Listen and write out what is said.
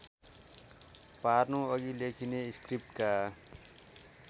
पार्नुअघि लेखिने स्क्रिप्टका